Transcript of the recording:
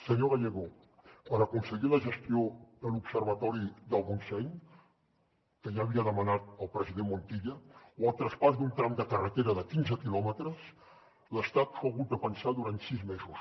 senyor gallego per aconseguir la gestió de l’observatori del montseny que ja havia demanat el president montilla o el traspàs d’un tram de carretera de quinze quilòmetres l’estat s’ho ha hagut de pensar durant sis mesos